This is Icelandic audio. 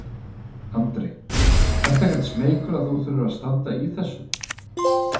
Andri: Ertu ekkert smeykur að þurfa að standa í þessu?